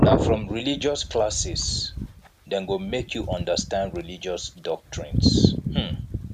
na from religious classes dem go make you understand religious doctrines um